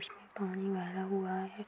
उसमें पानी भरा हुआ है।